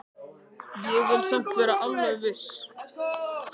Ég vil samt vera alveg viss.